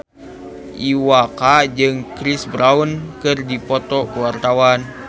Iwa K jeung Chris Brown keur dipoto ku wartawan